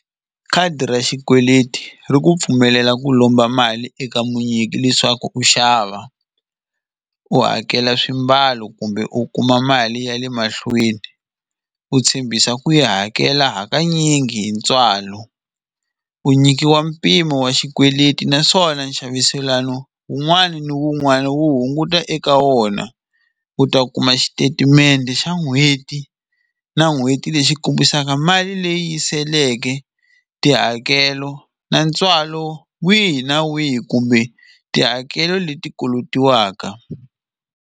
Khadi ra xikweleti ri ku pfumelela ku lomba mali eka munyiki leswaku u xava u hakela swimbalo kumbe u kuma mali ya le mahlweni u tshembisa ku yi hakela hakanyingi hi ntswalo u nyikiwa mpimo wa xikweleti naswona nxaviselano wun'wani na wun'wani wu hunguta eka wona u ta kuma xitetimende xa n'hweti na n'hweti lexi kombisaka mali leyi seleke tihakelo na ntswalo wihi na wihi kumbe tihakelo leti kolotiwaka.